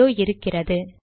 இதோ இருக்கிறது